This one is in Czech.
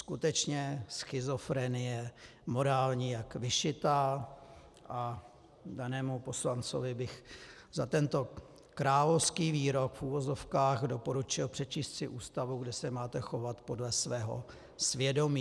Skutečně schizofrenie morální jak vyšitá a danému poslanci bych za tento královský výrok v uvozovkách doporučil přečíst si Ústavu, kde se máte chovat podle svého svědomí.